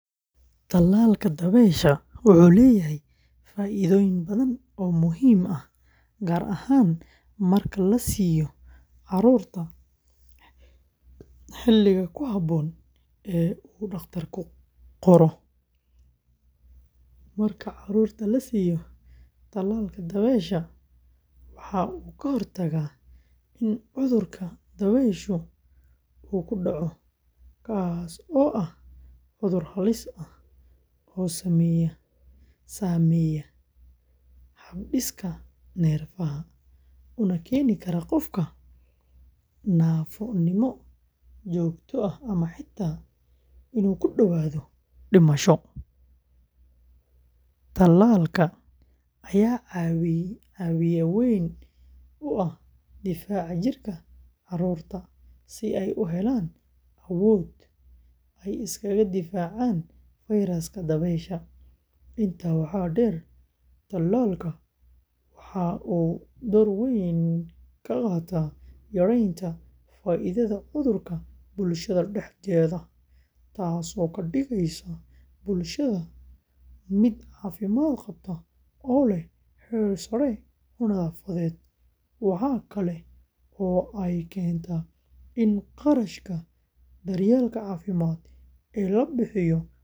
Tallaalka dabaysha wuxuu leeyahay faa’iidooyin badan oo muhiim ah gaar ahaan marka la siiyo carruurta xilliga ku habboon ee uu dhakhtarku qoro. Marka carruurta la siiyo tallaalka dabaysha, waxa uu ka hortagaa in cudurka dabayshu uu ku dhaco, kaas oo ah cudur halis ah oo saameeya habdhiska neerfaha, una keeni kara qofka naafo joogto ah ama xitaa dhimasho. Tallaalka ayaa caawiye weyn u ah difaaca jirka carruurta si ay u helaan awood ay iskaga difaacaan fayraska dabaysha. Intaa waxaa dheer, tallaalka waxa uu door weyn ka qaataa yareynta faafidda cudurka bulshada dhexdeeda, taasoo ka dhigaysa bulshada mid caafimaad qabta oo leh heer sare oo nadaafadeed. Waxa kale oo ay keentaa in kharashka daryeelka caafimaad ee la bixiyo marka cudurku dhaco uu yaraado.